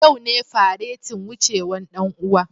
Yau ne faretin wucewan dan uwa.